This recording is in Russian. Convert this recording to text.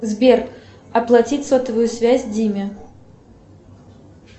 сбер оплатить сотовую связь диме